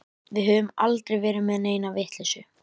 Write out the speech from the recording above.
Við höfum aldrei verið með neina vitleysu.